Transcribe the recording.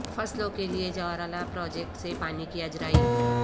فصلوں کیلئے جورالہ پراجیکٹ سے پانی کی اجرائی